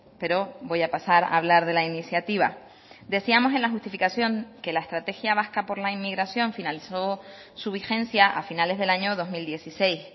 pero voy a pasar a hablar de la iniciativa decíamos en la justificación que la estrategia vasca por la inmigración finalizó su vigencia a finales del año dos mil dieciséis